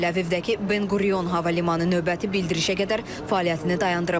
Təl-Əvivdəki Ben Quriyon hava limanı növbəti bildirişə qədər fəaliyyətini dayandırıb.